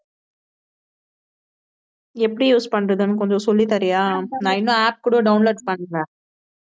எப்படி use பண்றதுன்னு கொஞ்சம் சொல்லித் தரியா? நான் இன்னும் app கூட download பன்னல